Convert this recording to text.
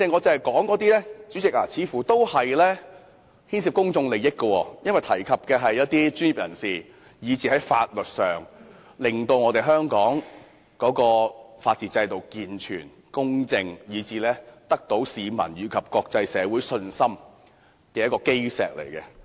主席，我剛才提出的問題似乎都牽涉公眾利益，因為不單涉及專業人士，亦會影響香港法治制度的健全和公正，而這正是令市民和國際有信心的基石。